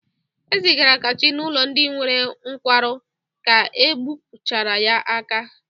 E zigara Kelechi n'ụlọ ndị nwere nkwarụ ka egbupụchara ya aka.